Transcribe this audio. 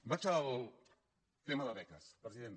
vaig al tema de beques president